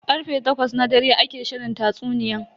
Karfe takwas na dare ake shirin tatsuniyan.